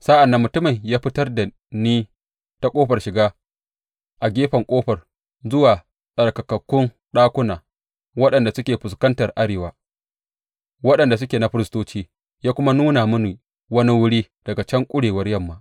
Sa’an nan mutumin ya fitar da ni ta ƙofar shiga a gefen ƙofar zuwa tsarkakakkun ɗakuna waɗanda suke fuskantar arewa, waɗanda suke na firistoci, ya kuma nuna mini wani wuri daga can ƙurewar yamma.